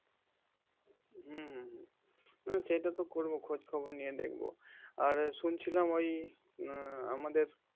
হম হম হম উম সেটা তো করবো খোঁজ খবর নিয়ে দেখবো আর শুনছিলাম ওই উম আমাদের